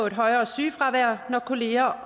et højere sygefravær når kolleger